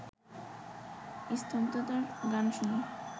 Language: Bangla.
স্তব্ধতার গান শুনি